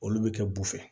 Olu bɛ kɛ bu fɛ